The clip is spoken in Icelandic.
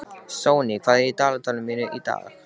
Sonný, hvað er á dagatalinu mínu í dag?